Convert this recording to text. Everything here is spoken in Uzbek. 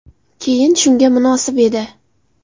Keyn shunga munosib edi.